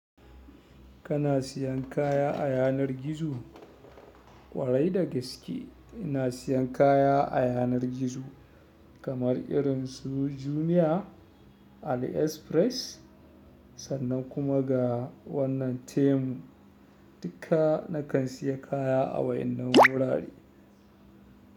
Kana siyan kaya a yanar gizo? Ƙwarai da gaske ina siyan kaya a yanar gizo kamar irin su Jumia, AliExpress. Sannan kuma ga wannan Temu. Duka na kan siya kaya a wannan wurare.